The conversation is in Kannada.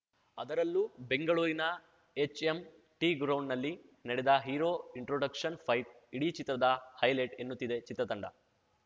ಅದರಲ್ಲೂ ಬೆಂಗಳೂರಿನ ಎಚ್‌ಎಂಟಿಗ್ರೌಂಡ್‌ನಲ್ಲಿ ನಡೆದ ಹೀರೋ ಇಂಟ್ರೋಡಕ್ಷನ್‌ ಫೈಟ್ ಇಡೀ ಚಿತ್ರದ ಹೈಲೈಟ್‌ ಎನ್ನುತ್ತಿದೆ ಚಿತ್ರತಂಡ